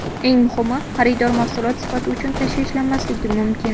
Eng muhimi – xaridor mahsulot sifati uchun tashvishlanmasligi mumkin.